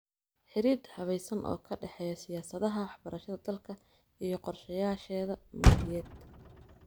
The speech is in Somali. Xidhiidh habaysan oo ka dhexeeya siyaasadaha waxbarashada dalka iyo qorshayaasheeda maaliyadeed.